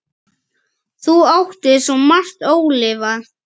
Þú áttir svo margt ólifað.